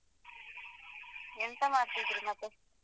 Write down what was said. ಎಂತ ಮಾಡ್ತಿದ್ರಿ ಮತ್ತೆ?